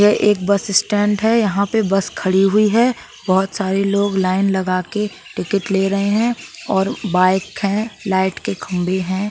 यह एक bus stand है यहाँ पे बस खड़ी हुई है| बहुत सारे लोग लाइन लगाके टिकट ले रहे हैं और बाइक है| लाइट के खंबे है।